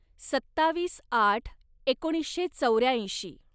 सत्तावीस आठ एकोणीसशे चौर्याऐंशी